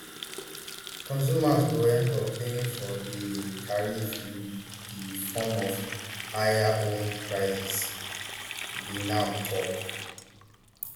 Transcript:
consumers go end up paying for di tariffs in di form of higher home prices di nahb tok